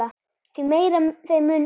Því meira þeim mun betra.